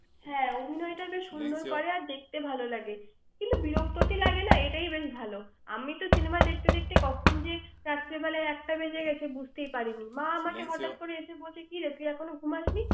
হ্যাঁ, ঐ জন্যই তো এত সুন্দর করে, আর দেখতে ভাল লাগে। কিন্তু বিরক্ত কি লাগে না? এইটাই বেশ ভাল। আমি তো cinema দেখতে দেখতে কখন যে রাত্রে বেলা একটা বেজে গেছে বুঝতেই পারিনি। মামা আমাকে হঠাৎ করে এসে বলছে কিরে, তুই এখনও ঘুমাসনি?